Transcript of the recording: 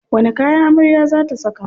Wani kaya amarya za ta saka?